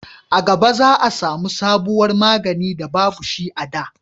a gaba za a samu sabuwar magani da babu shi a da